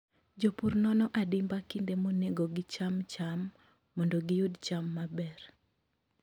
Jopur nono adimba kinde monego gicham cham mondo giyud cham maber.